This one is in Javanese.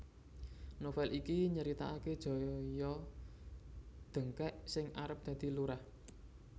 Novel iki nyritaake Joyo Dengkek sing arep dadi lurah